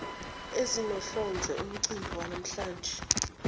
ezinohlonze umcimbi wanamhlanje